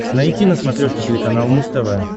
найти на смотрешке телеканал муз тв